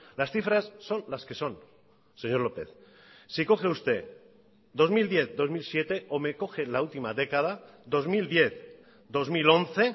las cifras son las que son señor lópez si coge usted dos mil diez dos mil siete o me coge la última década dos mil diez dos mil once